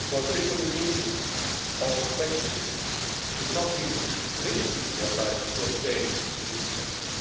People in need of protection should not be risking their lives to obtain this protection.